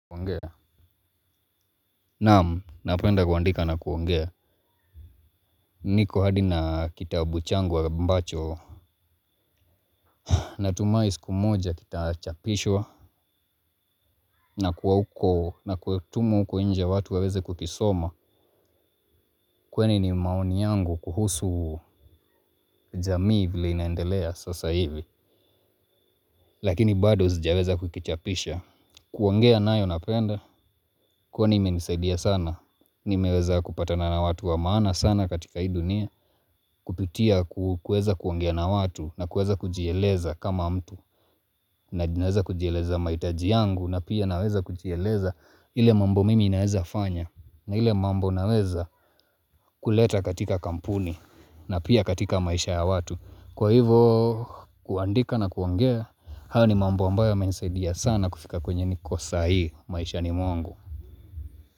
Naam, napenda kuandika na kuongea, niko hadi na kitabu changu ambacho natumai siku moja kitachapishwa na kuwa huko na kutumwa uko inje watu waweze kukisoma. Kweni ni maoni yangu kuhusu jamii vile inaendelea sasa hivi. Lakini bado sijaweza kukichapisha. Kuongea nayo napenda, kwani imenisaidia sana, nimeweza kupatana na watu wa maana sana katika hii dunia. Kupitia kuweza kuongea na watu na kuweza kujieleza kama mtu. Naweza kujieleza mahitaji yangu na pia naweza kujieleza ile mambo mingi naweza fanya. Na ile mambo naweza kuleta katika kampuni na pia katika maisha ya watu kwa hivo kuandika na kuongea, hayo ni mambo ambayo yamenisaidia sana kufika kwenye niko saa hii maishani mwangu.